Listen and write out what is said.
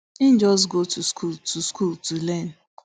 e just go to school to school to learn